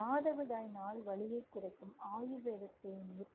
மாதவிடாய் நாள் வலியை குறைக்கும் ஆயுர்வேத தேநீர்